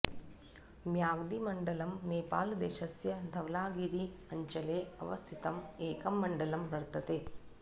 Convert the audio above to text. म्याग्दीमण्डलम् नेपालदेशस्य धवलागिरी अञ्चले अवस्थितं एकं मण्डलं वर्तते